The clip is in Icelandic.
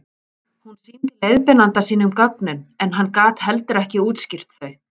Hún sýndi leiðbeinanda sínum gögnin en hann gat heldur ekki útskýrt þau.